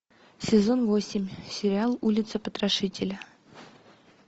сезон восемь сериал улица потрошителя